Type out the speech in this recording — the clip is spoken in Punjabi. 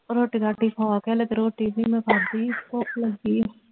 ਰੋਟੀ ਰਾਟੀ ਖਾ ਕੇ ਹਾਲੇ ਤੇ ਰੋਟੀ ਨਹੀਂ ਮੈਂ ਖਾਦੀ ਭੁੱਖ ਲੱਗੀ ਆ